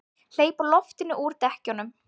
Hleypa loftinu úr dekkjunum!